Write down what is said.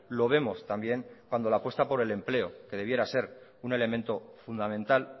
lo vemos también cuando la apuesta por el empleo que debiera de ser un elemento fundamental